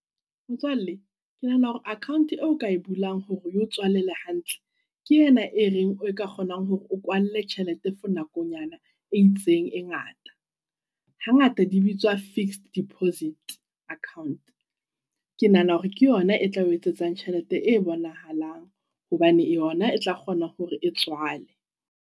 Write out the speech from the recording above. Motswalle ke nahana hore account eo ka e bulang hore eo tswalele hantle ke ena e reng o ka kgonang hore o kwalle tjhelete for nakonyana e itseng e ngata. Hangata di bitswa fixed deposit account. Ke nahana hore ke yona e tla o etsetsang tjhelete e bonahalang, hobane yona e tla kgona hore e tswale.